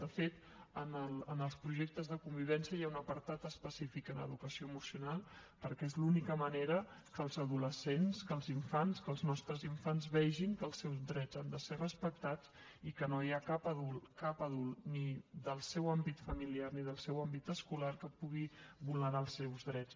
de fet en els projectes de convivència hi ha un apartat específic en educació emocional perquè és l’única manera que els adolescents que els infants que els nostres infants vegin que els seus drets han de ser respectats i que no hi ha cap adult cap adult ni del seu àmbit familiar ni del seu àmbit escolar que pugui vulnerar els seus drets